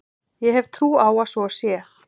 Ég hef trú á að svo sé.